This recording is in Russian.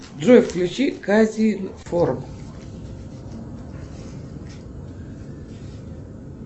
джой включи казинформ